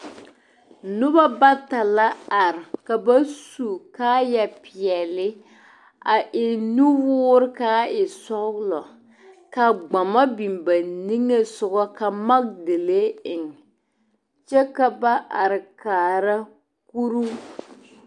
Noba bata la are ka ba su kaaya peɛle a eŋ nuwɔɔre ka a e sɔglɔ ka gbama biŋ ba niŋe sɔgɔ magedalee eŋ kyɛ ka ba are kaara kuruu.